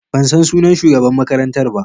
Ban san sunan shugaban makarantar ba.